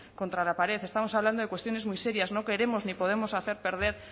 contra la pared estamos hablando de cuestiones muy serias no queremos ni podemos hacer perder